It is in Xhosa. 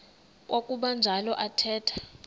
kwakuba njalo athetha